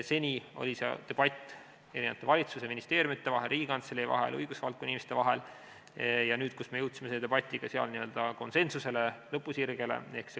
Seni oli debatt valitsuse ja ministeeriumide vahel, Riigikantselei vahel, õigusvaldkonna inimeste vahel ja nüüd me jõudsime selle debatiga konsensusele ehk lõpusirgele.